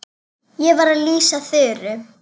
Ég var að lýsa Þuru.